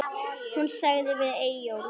Hún sagði við Eyjólf